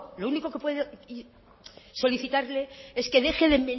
lo único que puedo solicitarle es que deje de